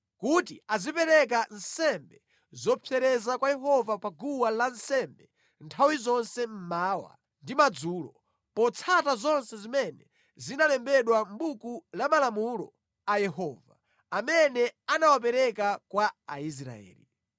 kuti azipereka nsembe zopsereza kwa Yehova pa guwa lansembe nthawi zonse mmawa ndi madzulo, potsata zonse zimene zinalembedwa mʼbuku la malamulo a Yehova, amene anawapereka kwa Aisraeli.